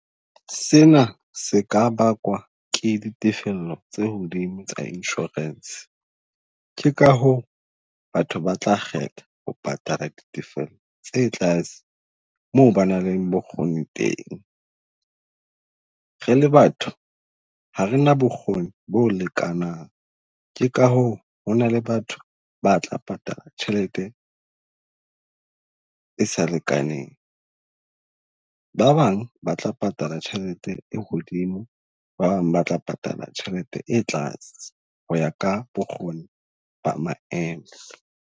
Se na se ka bakwa ke ditefello tse hodimo tsa insurance. Ke ka hoo batho ba tla kgetha ho patala ditefello tse tlase moo ba nang le bokgoni teng. Re le batho ha re na bokgoni bo lekanang. Ke ka hoo ho na le batho ba tla patala tjhelete e sa lekaneng, ba bang ba tla patala tjhelete e hodimo, ba bang ba tla patala tjhelete e tlase ho ya ka bokgoni ba maemo.